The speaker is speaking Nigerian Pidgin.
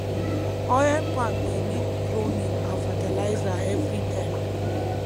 oil palm dey need pruning and fertilizer everytime